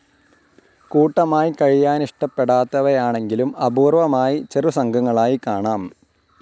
കൂട്ടമായി കഴിയാനിഷ്ടപ്പെടാത്തവയാണെങ്കിലും അപൂർ‌വ്വമായി ചെറുസംഘങ്ങളായി കാണാം.